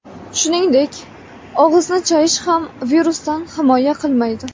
Shuningdek, og‘izni chayish ham virusdan himoya qilmaydi.